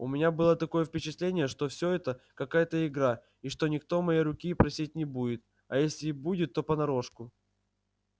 у меня было такое впечатление что всё это какая-то игра и что никто моей руки просить не будет а если и будет то понарошку